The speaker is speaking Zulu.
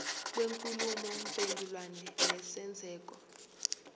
kwenkulumo mpendulwano nesenzeko